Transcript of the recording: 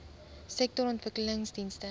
sektorontwikkelingdienste